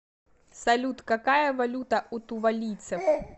салют какая валюта у тувалийцев